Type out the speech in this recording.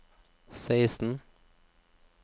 seksten